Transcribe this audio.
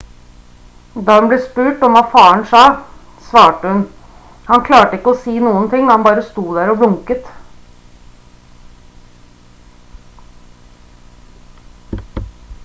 da hun ble spurt om hva faren sa svarte hun: «han klarte ikke å si noen ting han bare sto der og blunket»